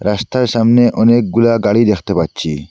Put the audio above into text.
রাস্তার সামনে অনেকগুলা গাড়ি দেখতে পাচ্ছি।